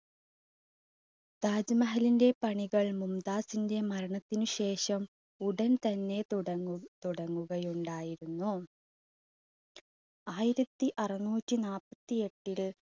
താജ് മഹലിന്റെ പണികൾ മുംതാസിന്റെ മരണത്തിന് ശേഷം ഉടൻ തന്നെ തുടങ്ങു~തുടങ്ങുക ഉണ്ടായിരുന്നു. ആയിരത്തി അറുനൂറ്റി നാൽപത്തിഎട്ടിൽ